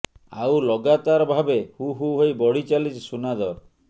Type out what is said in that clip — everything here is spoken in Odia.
ଆଉ ଲଗାତାର ଭାବେ ହୁ ହୁ ହୋଇ ବଢ଼ି ଚାଲିଛି ସୁନା ଦର